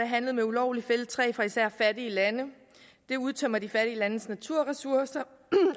handlet med ulovligt fældet træ fra især fattige lande det udtømmer de fattige landes naturressourcer